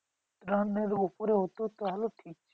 Run এর উপরে হতো তাহলে ঠিক ছিল